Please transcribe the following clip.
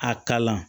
A kalan